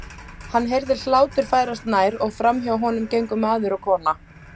Hann heyrði hlátur færast nær og framhjá honum gengu maður og kona.